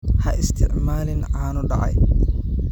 Ha isticmaalin caano dhacay.